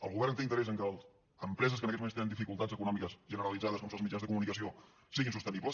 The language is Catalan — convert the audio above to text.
el govern té interès en que empreses que en aquests moments tenen dificultats econòmiques generalitzades com són els mitjans de comunicació siguin sostenibles